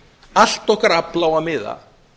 allt okkar afl á að miða